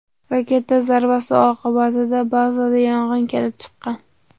Raketa zarbasi oqibatida bazada yong‘in kelib chiqqan.